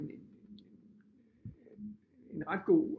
En en ret god